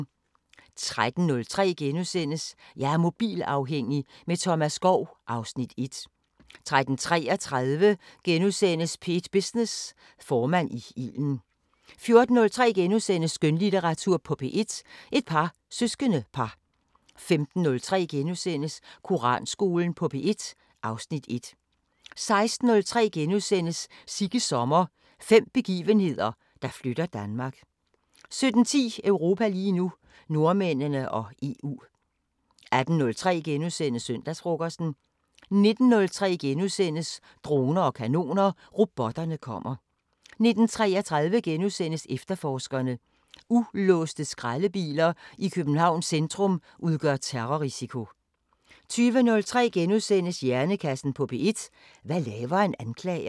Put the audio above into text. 13:03: Jeg er mobilafhængig – med Thomas Skov (Afs. 1)* 13:33: P1 Business: Formand i ilden * 14:03: Skønlitteratur på P1: Et par søskendepar * 15:03: Koranskolen på P1 (Afs. 1)* 16:03: Sigges sommer – fem begivenheder, der flytter Danmark * 17:10: Europa lige nu: Nordmændene og EU 18:03: Søndagsfrokosten * 19:03: Droner og kanoner: Robotterne kommer * 19:33: Efterforskerne: Ulåste skraldebiler i Københavns centrum udgør terrorrisiko * 20:03: Hjernekassen på P1: Hvad laver en anklager? *